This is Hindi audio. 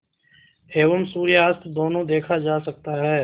एवं सूर्यास्त दोनों देखा जा सकता है